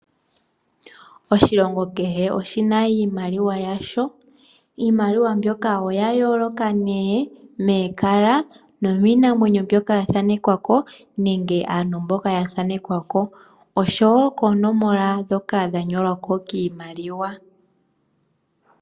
Oshilongo kehe oshima iimaliwa yasho. Iimaliwa mbyoka oya yooloka momalwala nokiinamweyenyo mbyoka yathanekwako nenge aantu mboka yathanekwako oshowo koonomola ndhoka dhanyolwako kiimaliwa.